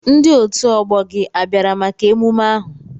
Ndi otu ọgbọ gị a bịara maka emume ahụ?